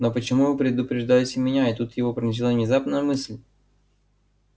но почему вы предупреждаете меня и тут его пронзила внезапная мысль